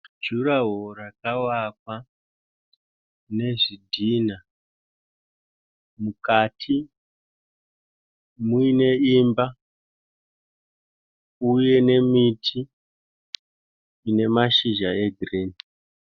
Juraho rakavakwa nezvidhinha mukati muine imba uye nemiti ine mashizha egirinhi.